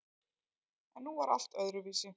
En nú var allt öðruvísi.